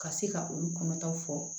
Ka se ka olu kɔnɔta fɔ